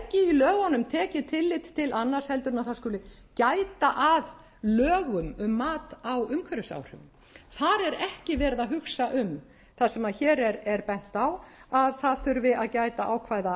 hvergi í lögunum tekið tillit til annars heldur en að það skuli gæta að lögum um mat á umhverfisáhrifum þar er ekki verið að hugsa um það sem hér er bent á að það þurfi að gæta ákvæða